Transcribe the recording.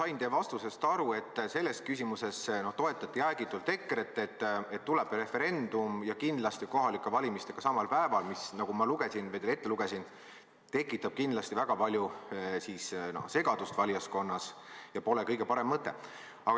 Ma sain teie vastusest aru, et te selles küsimuses toetate jäägitult EKRE-t, tuleb referendum ja kindlasti kohalike valimistega samal päeval, mis, nagu ma teile ette lugesin, tekitab kindlasti väga palju segadust valijaskonnas ja pole kõige parem mõte.